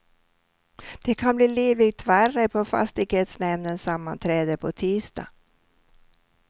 Det kan bli livligt värre på fastighetsnämndens sammanträde på tisdag.